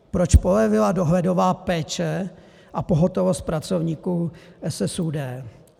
Proč polevila dohledová péče a pohotovost pracovníků SSÚD?